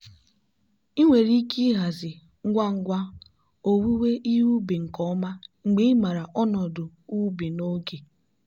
ị nwere ike ịhazi ngwa ngwa owuwe ihe ubi nke ọma mgbe ịmara ọnọdụ ubi n'oge.